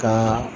Kaa